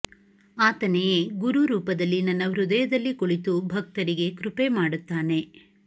ಆತನೆಯೆ ಗುರು ರೂಪದಲ್ಲಿ ನನ್ನ ಹೃದಯದಲ್ಲಿ ಕುಳಿತು ಭಕ್ತರಿಗೆ ಕೃಪೆ ಮಾಡುತ್ತಾನೆ